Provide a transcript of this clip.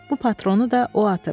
Bu patronu da o atıb.